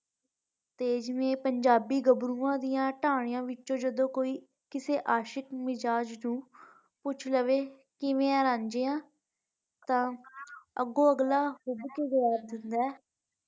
ਤੇ ਜਿਵੈਂ ਪੰਜਾਬੀ ਗੱਬਰੂਆਂ ਦੀਆਂ ਟਾਹਣੀਆਂ ਵਿਚੋਂ ਕਿਸੀ ਅਸ਼ਿਕਮਿਜ਼ਾਜ਼ ਨੂੰ ਪੁੱਛ ਲਾਵੇ ਕਿਵੈਂ ਆ ਰਾਂਝਿਆ ਤੇ ਅੱਗੋਂ ਅਗਲਾ ਕੇ ਜਵਾਬ ਦੇਂਦਾ ਆ।